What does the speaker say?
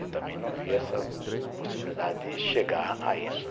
Eu também não via essa possibilidade de chegar a isso.